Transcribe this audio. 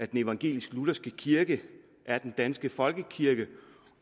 den evangelisk lutherske kirke er den danske folkekirke